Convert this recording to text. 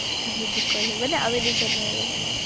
দুকলে মানে আমি দুজন আৰু মানে